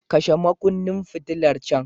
Kashe makunnin fitilar can.